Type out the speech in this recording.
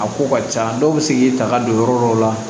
A ko ka ca dɔw bɛ se k'i ta ka don yɔrɔ dɔw la